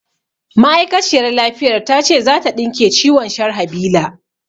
Ma'aikaciyar lafiyar ta ce za ta ɗinke ciwon Sharhabila